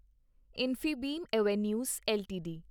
Infibeam Avenues LTD